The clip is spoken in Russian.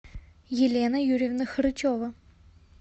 елена юрьевна хорычева